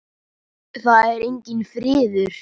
Það er enginn friður!